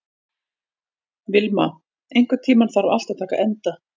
Vilma, einhvern tímann þarf allt að taka enda.